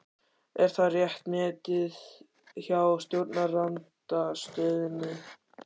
Er það rétt metið hjá stjórnarandstöðunni?